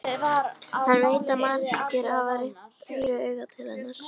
Hann veit að margir hafa rennt hýru auga til hennar.